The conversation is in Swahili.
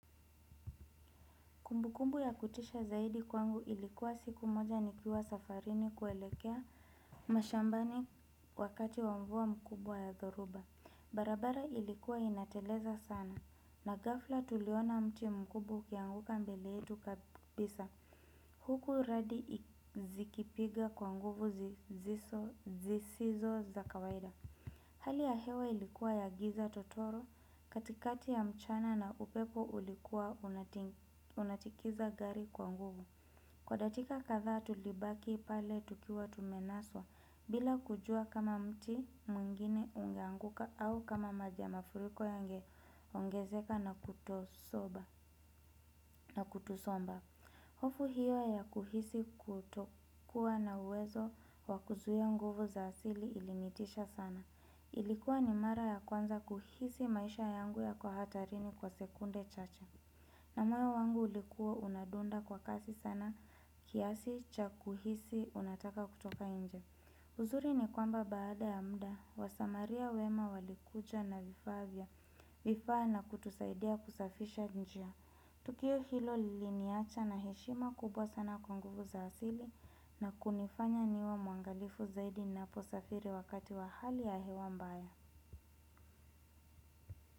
Kumbu kumbu ya kutisha zaidi kwangu ilikuwa siku moja nikiwa safarini kuelekea mashambani wakati wa mvua mkubwa ya dhoruba. Barabara ilikuwa inateleza sana. Na ghafla tuliona mti mkubwa ukianguka mbele yetu kabisa. Huku radi zikipiga kwa nguvu zisizo za kawaida. Hali ya hewa ilikuwa ya giza totoro katikati ya mchana na upepo ulikuwa unatikiza gari kwa nguvu. Kwa datika kadhaa tulibaki pale tukiwa tumenaswa bila kujua kama mti mwingine ungeanguka au kama maji ya mafuriko yange ongezeka na kutusomba. Hofu hiyo ya kuhisi kutokuwa na uwezo wa kuzuia nguvu za asili ilinitisha sana. Ilikuwa ni mara ya kwanza kuhisi maisha yangu yako hatarini kwa sekunde chache. Na moyo wangu ulikuwa unadunda kwa kasi sana kiasi cha kuhisi unataka kutoka inje. Uzuri ni kwamba baada ya mda, wasamaria wema walikuja na vifaa vya vifaa na kutusaidia kusafisha njia. Tukio hilo liliniacha na heshima kubwa sana kwa nguvu za asili na kunifanya niwe mwangalifu zaidi naposafiri wakati wa hali ya hewa mbaya.